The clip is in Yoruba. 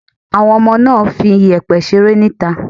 Àwọn ọmọ náà ń fi iyẹ̀pẹ̀ ṣeré ni ìta.